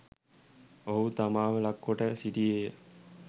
ඔහු තමාව ලක් කොට සිටියේය